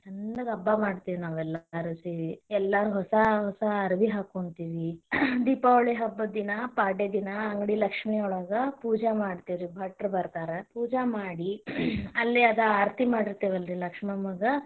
ಚಂದಗ ಹಬ್ಬ ಮಾಡ್ತೇವಿ ನಾವೆಲ್ಲರೂ ಸೇರಿ ಎಲ್ಲಾರು ಹೊಸಾ ಹೊಸ ಅರವಿ ಹಾಕೋಂತೇವಿ ದೀಪಾವಳಿ ಹಬ್ಬದಿನ ಪಾಡ್ಯಾದಿನಾ ಅಂಗಡಿ ಲಕ್ಷ್ಮಿ ಒಳಗ ಪೂಜಾ ಮಾಡ್ತೇವರಿ ಭಟ್ರ್ ಬರ್ತಾರಾ, ಪೂಜಾ ಮಾಡಿ ಅಲ್ಲಿ ಅದ ಆರ್ತಿ ಮಾಡಿರತೀವಲ್ಲ್ ರಿ ಲಕ್ಷ್ಮಮ್ಮಗ.